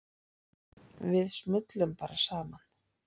Við smullum bara saman.